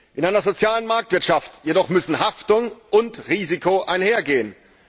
In einer sozialen Marktwirtschaft jedoch müssen Haftung und Risiko einhergehen.